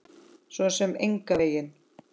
Svo sem engan veginn